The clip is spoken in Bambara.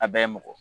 A bɛɛ ye mɔgɔ